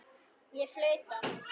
Ég flauta.